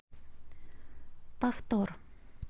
повтор